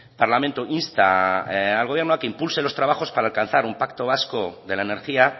parlamento insta al gobierno a que impulse los trabajos para alcanzar un pacto vasco de la energía